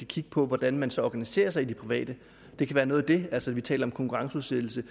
kigge på hvordan man så organiserer sig i det private det kan være noget af det altså at vi taler om konkurrenceudsættelse